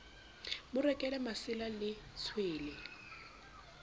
mo rekele masela le tshwele